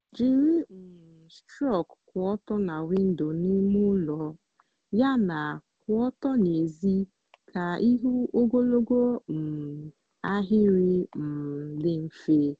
jiri um strok kwụ ọtọ na windo n'ime ụlọ yana kwụ ọtọ n'èzí ka ịhụ ogologo um ahịrị um dị mfe.